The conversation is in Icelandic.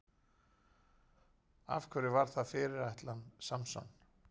Af hverju var það fyrirætlan Samson?